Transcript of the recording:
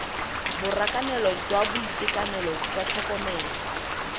borakanelo jwa boitekanelo jwa tlhokomelo